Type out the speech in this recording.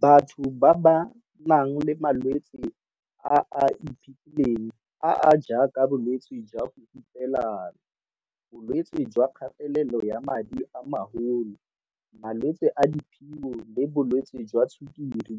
Batho ba ba nang le malwetse a a iphitlhileng - a a jaaka bolwetse jwa go hupelana, bolwetse jwa kgatelelo ya madi a magolo, malwetse a diphio le bolwetse jwa tshukiri